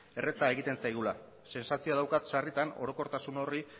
erraza egiten zaigula sentsazioa daukat sarritan orokortasun horri